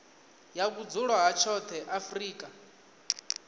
ya vhudzulo ha tshoṱhe afrika